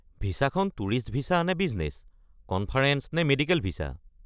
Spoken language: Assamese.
ভিছাখন টুৰিষ্ট ভিছা নে বিজনেছ, কনফাৰেঞ্চ নে মেডিকেল ভিছা?